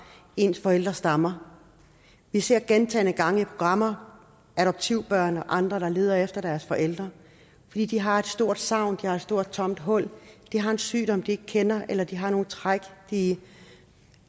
ens forældre stammer vi ser gentagne gange i programmer adoptivbørn og andre der leder efter deres forældre fordi de har et stort savn de har et stort tomt hul de har en sygdom de ikke kender eller de har nogle træk de